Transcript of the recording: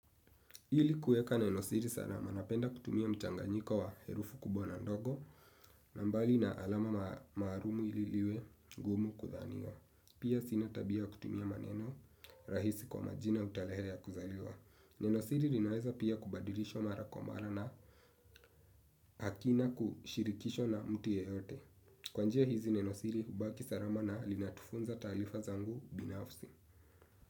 Ili kueka nenosiri sana manapenda kutumia mchanganyiko wa herufu kubwa na ndogo. Nambali na alama maharumu ili liwe gumu kuthaniwa. Pia sina tabia kutumia maneno rahisi kwa majina au talehe ya kuzaliwa. Nenosiri rinaeza pia kubadilisho mara ko mara na hakina kushirikisho na mtu yeyote. Kwanjia hizi nenosiri ubaki sarama na linatufunza talifa zangu binafsi.